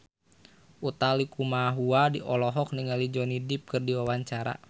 Utha Likumahua olohok ningali Johnny Depp keur diwawancara